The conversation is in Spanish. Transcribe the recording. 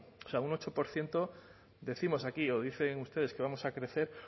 o sea un ocho por ciento décimos aquí o dicen ustedes que vamos a crecer